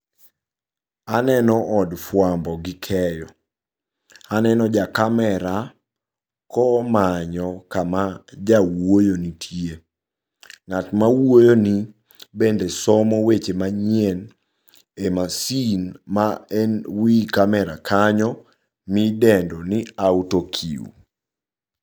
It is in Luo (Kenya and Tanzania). Aneno od fuambo gi keyo. Aneno jacamera komanyo kama jawuoyo nitie. Ng'at mawuoyoni bende somo weche manyien e masin maen wi camera kanyo midendoni auto que.